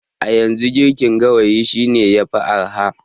A yanzu, girkin gawayi shine yafi araha.